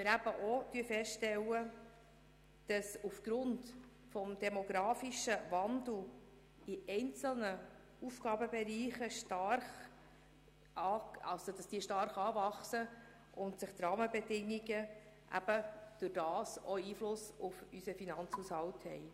Wir stellen auch fest, dass aufgrund des demografischen Wandels einzelne Bereiche stark anwachsen und Einfluss auf den Finanzhaushalt haben.